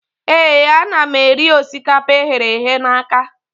Ee, ana m eri osikapa eghere eghe na aka